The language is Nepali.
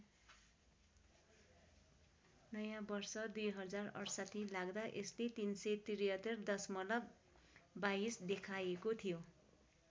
नयाँ वर्ष २०६८ लाग्दा यसले ३७३ दशमलव २२ देखाएको थियो।